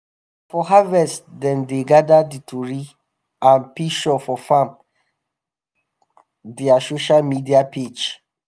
na for harvest time dem gather di tori and pishure for farm dia sosha media page.